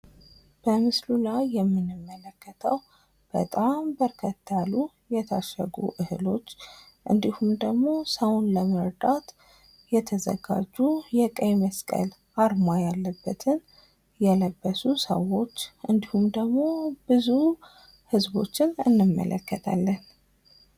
በምስሉ ላይ የምንመለከተው በጣም በርከት ያሉ የታሸጉ እህሎች እንዲሁም ደግሞ ሰውን ለመርዳት የተዘጋጁ የቀይ መስቀል አርማ ያለበትን የለበሱ ሰዎች እንዲሁም ደግሞ ብዙ ህዝቦችን እንመለከታለን።